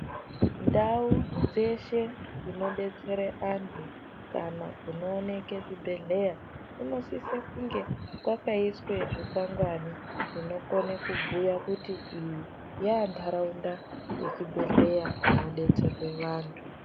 Ndau dzeshe dzinodetsere antu kana kunooneke zvibhedhleya kunosise kunge kwakaiswe zvikwangwani zvinokone kubhuya kuti iyi yaantaraunda yechibhehleya kunodetserwe vantu.